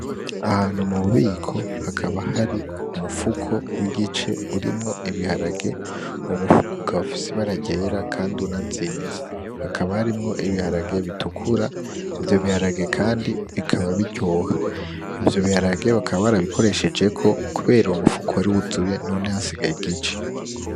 Ahantu mu bubiko hakaba hari umufuko w'igice urimwo ibiharage, uwo mufuko ukaba ufise ibara ryera kandi unazinze, hakaba harimwo ibiharage bitukura, ivyo biharage kandi bikaba biryoha, ivyo biharage bakaba barabikoreshejeko kubera uwo mufuko wari wuzuye none hasigaye igice.